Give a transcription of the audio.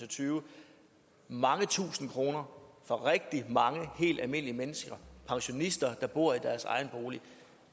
og tyve mange tusinde kroner for rigtig mange helt almindelige mennesker pensionister der bor i deres egen bolig